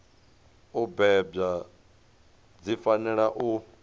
u bebwa dzi fanela u